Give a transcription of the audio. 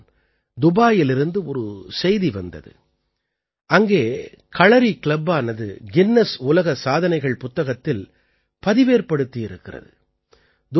தற்போது தான் துபாயிலிருந்து ஒரு செய்தி வந்தது அங்கே களறி கிளப்பானது கின்னஸ் உலக சாதனைகள் புத்தகத்தில் பதிவேற்படுத்தியிருக்கிறது